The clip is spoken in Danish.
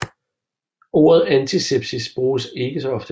Ordet antisepsis bruges ikke så ofte